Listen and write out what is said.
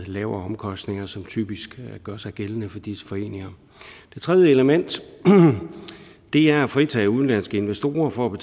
lavere omkostninger som typisk gør sig gældende for disse foreninger det tredje element er at fritage udenlandske investorer for at